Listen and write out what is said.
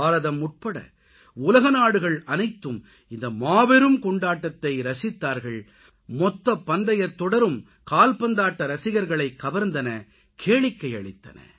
பாரதம் உட்பட உலக நாடுகள் அனைத்தும் இந்த மாபெரும் கொண்டாட்டத்தை ரசித்தார்கள் மொத்த பந்தயத் தொடரும் கால்பந்தாட்ட ரசிகர்களைக் கவர்ந்தன கேளிக்கை அளித்தன